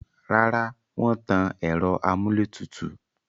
Rárá, wọ́n tan ẹ̀rọ amúlétùtù